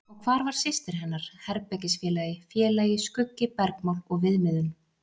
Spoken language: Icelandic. Og hvar var systir hennar, herbergisfélagi, félagi, skuggi, bergmál og viðmiðun?